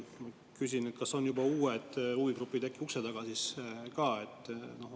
Küsin: kas on juba uued huvigrupid äkki ukse taga?